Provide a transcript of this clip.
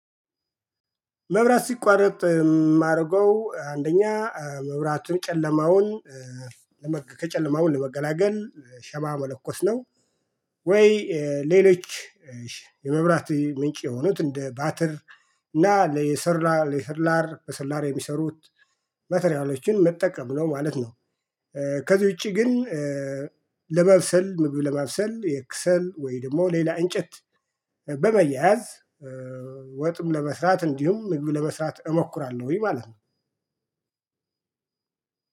መብራት ሲቋረጥ የማደርገው አንደኛ መብራቱን ጨለማውን ለም ከጨለማው ለመገላገል ሻማ መለኮስ ነው። ወይ? ሌሎች የመብራት ምንጭ የሆኑት እንደ ባትር እና ለየሰራ ለየሰላር በሰላር የሚሰሩት ማተሪያሎችን መጠቀም ነው ማለት ነው። ከዚህ ውጪ ግን ለመብሰል ምግብ ለማብሰል የክሰል ወይ ደግሞ ሌላ እንጨት በማያያዝ ወጥም ለመስራት እንዲሁም ምግብ ለመስራት እሞክራለሁኝ ማለት ነው።